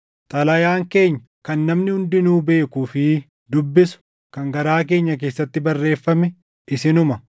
Xalayaan keenya kan namni hundinuu beekuu fi dubbisu kan garaa keenya keessatti barreeffame isinuma.